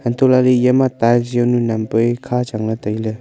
hantoh lah ley ema tiles jawnu nam peri kha chang ley tai ley.